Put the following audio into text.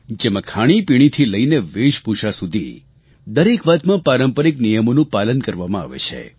જેમાં ખાણીપીણી થી લઈને વેશભૂષા સુધી દરેક વાતમાં પારંપારિક નિયમોનું પાલન કરવામાં આવે છે